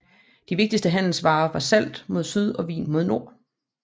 De vigtigste handelsvarer var salt mod syd og vin mod nord